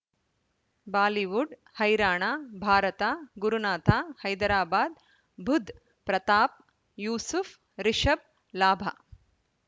Bollywood ಹೈರಾಣ ಭಾರತ ಗುರುನಾಥ ಹೈದರಾಬಾದ್ ಬುಧ್ ಪ್ರತಾಪ್ ಯೂಸುಫ್ ರಿಷಬ್ ಲಾಭ